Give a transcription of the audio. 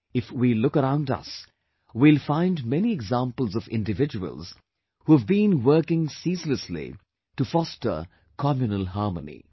If we look around us, we will find many examples of individuals who have been working ceaselessly to foster communal harmony